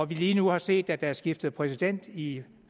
vi lige nu har set at der er skiftet præsident i